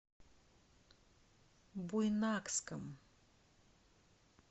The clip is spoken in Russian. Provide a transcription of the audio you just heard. буйнакском